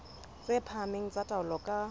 tse phahameng tsa taolo ka